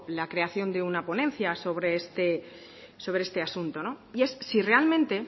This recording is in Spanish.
la creación de una ponencia sobre este asunto y es si realmente